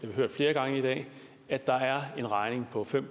vi hørt flere gange i dag at der er en regning på fem